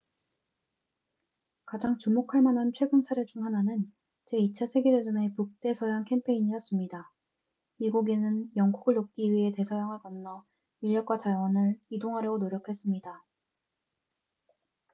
가장 주목할 만한 최근 사례 중 하나는 제2차 세계 대전의 북대서양 캠페인이었습니다 미국인은 영국을 돕기 위해 대서양을 건너 인력과 자원을 이동하려고 노력했습니다